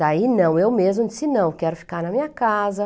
Daí não, eu mesma disse não, quero ficar na minha casa.